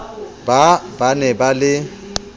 ba ba ne ba le